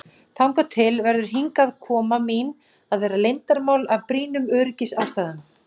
Þangað til verður hingaðkoma mín að vera leyndarmál, af brýnum öryggisástæðum.